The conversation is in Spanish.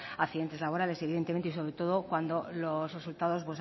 accidentes laborales evidentemente y sobre todo cuando los resultados